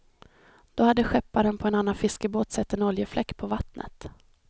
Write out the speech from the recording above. Då hade skepparen på en annan fiskebåt sett en oljefläck på vattnet.